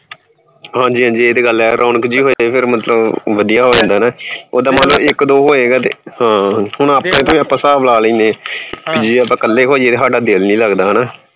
ਹਾਂਜੀ ਹਾਂਜੀ ਇਹ ਤੇ ਗੱਲ ਹੈ ਰੌਣਕ ਜਿਹੀ ਹੋ ਜਾਂਦੀ ਫਿਰ ਮਤਲਬ ਵਧੀਆ ਹੋ ਜਾਂਦਾ ਨਾ ਓਦਾਂ ਮੰਨ ਲਓ ਇੱਕ ਦੋ ਹੋਏਗਾ ਤੇ ਹਾਂ ਹੁਣ ਆਪਾਂ ਤੇ ਆਪਾਂ ਹਿਸਾਬ ਲਾ ਲੈਂਦੇ ਹਾਂ ਕਿ ਜੇ ਆਪਾਂ ਇਕੱਲੇ ਹੋਈਏ ਤੇ ਸਾਡਾ ਦਿਲ ਨੀ ਲੱਗਦਾ ਹਨਾ